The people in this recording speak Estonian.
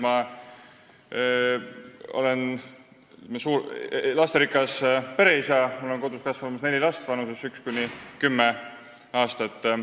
Ma olen lasterikas pereisa: mul kasvab kodus neli last vanuses üks kuni kümme aastat.